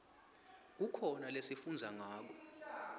kukhona lesifundza ngato